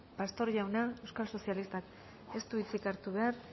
pastor jaunak euskal sozialistak ez du hitzik hartu behar